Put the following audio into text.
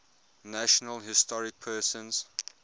national historic persons